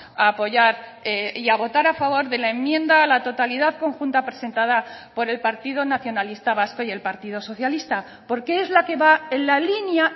a apoyar y a votar a favor de la enmienda a la totalidad conjunta presentada por el partido nacionalista vasco y el partido socialista porque es la que va en la línea